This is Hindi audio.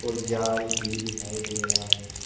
जाल भी दिखाई दे रहा है।